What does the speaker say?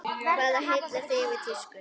Hvað heillar þig við tísku?